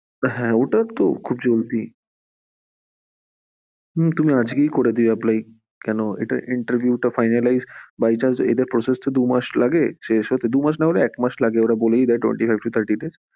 হ্যাঁ ওটা তো খুবই easy, তুমি আজই করে দিও apply, কেন এদের interview তো finalise, এদের process তো দু মাস লাগে, সে দু মুশ না হলে এক মাস, ওরা বলেই দেয় twenty -five to thirty days.